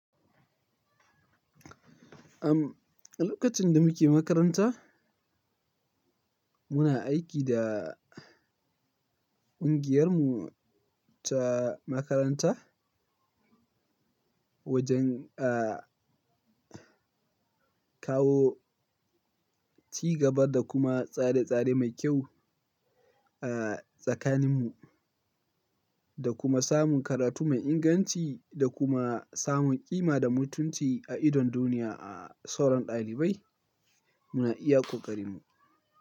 Am, a lokacin da muke makaranta, muna aiki da ƙungiyarmu ta makaranta wajen kawo cigaba da kuma tsare tsare mai kyau a tsakaninmu da kuma samun karatu mai inganci da kuma samun ƙima da mutunci a idon duniya a sauran ɗalibai. Muna iya kokarinmu.